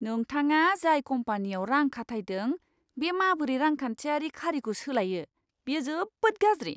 नोंथाङा जाय कम्पानीयाव रां खाथायदों, बे माबोरै रांखान्थियारि खारिखौ सोलायो, बेयो जोबोद गाज्रि!